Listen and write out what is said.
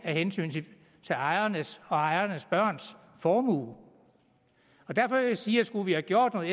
hensyn til ejernes og ejernes børns formue derfor vil jeg sige at skulle vi have gjort noget